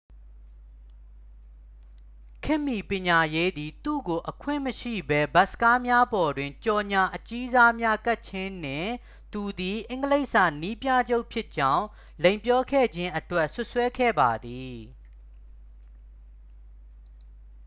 ခေတ်မီပညာရေးသည် သူ့ကို အခွင့်မရှိဘဲ ဘတ်စ်ကားများပေါ်တွင် ကြော်ငြာအကြီးစားများကပ်ခြင်းနှင့် သူသည် အင်္ဂလိပ်စာနည်းပြချုပ်ဖြစ်ကြောင်း လိမ်ပြောခဲ့ခြင်းအတွက် စွပ်စွဲခဲ့ပါသည်